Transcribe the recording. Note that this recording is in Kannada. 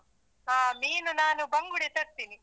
ಹ ಮೀನು ನಾನು ಬಂಗುಡೆ ತರ್ತೀನಿ.